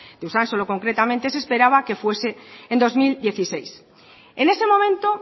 de usansolo concretamente se esperaba que fuese en dos mil dieciséis en ese momento